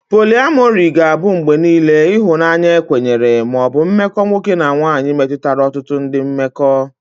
Poliamori ga-abụ mgbe niile ihunanya ekwenyere ma ọ bụ mmekọ nwoke na nwanyị metụtara ọtụtụ ndị mmekọ.